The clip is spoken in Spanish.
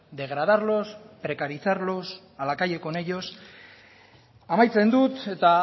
degradarlos precarizarlos a la calle con ellos amaitzen dut eta